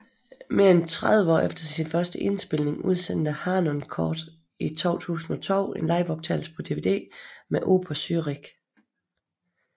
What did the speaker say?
Mere end tredive år efter sin første indspilning udsendte Harnoncourt i 2002 en liveoptagelse på DVD med Oper Zürich